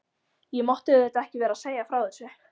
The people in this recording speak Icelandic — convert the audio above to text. Ég mátti auðvitað ekki vera að segja frá þessu.